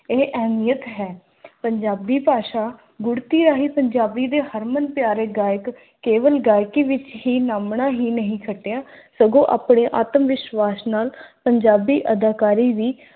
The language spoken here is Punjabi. ਇਹ ਅਹਿਮੀਅਤ ਹੈ। ਪੰਜਾਬੀ ਭਾਸ਼ਾ ਗੁੜਤੀ ਰਾਹੀਂ ਪੰਜਾਬੀ ਦੇ ਹਰਮਨ ਪਿਆਰੇ ਗਾਇਕ ਕੇਵਲ ਗਾਇਕੀ ਵਿੱਚ ਹੀ ਨਾਮਣਾ ਹੀ ਨਹੀਂ ਖਟਿਆ ਸਗੋਂ ਆਪਣੇ ਆਤਮ-ਵਿਸ਼ਵਾਸ ਨਾਲ ਪੰਜਾਬੀ ਅਦਾਕਾਰੀ ਵੀ